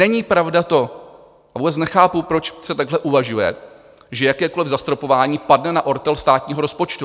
Není pravda to, a vůbec nechápu, proč se takhle uvažuje, že jakékoliv zastropování padne na ortel státního rozpočtu.